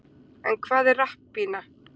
en hvað er rapppína